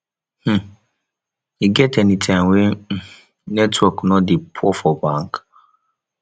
um e get anytime wey um network no dey poor for bank